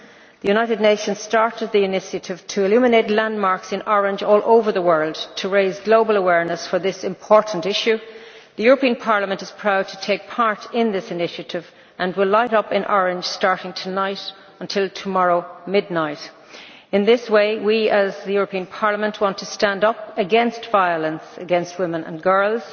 The United Nations started the initiative to illuminate landmarks in orange all over the world to raise global awareness for this important issue. The European Parliament is proud to take part in this initiative and will light up in orange starting tonight until tomorrow midnight. In this way we, as the European Parliament, want to stand up against violence against women and girls.